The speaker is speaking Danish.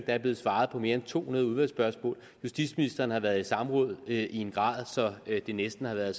er blevet svaret på mere end to hundrede udvalgsspørgsmål og justitsministeren har været i samråd i en grad så det næsten har været